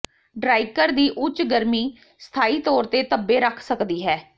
ਡ੍ਰਾਈਕਰ ਦੀ ਉੱਚ ਗਰਮੀ ਸਥਾਈ ਤੌਰ ਤੇ ਧੱਬੇ ਰੱਖ ਸਕਦੀ ਹੈ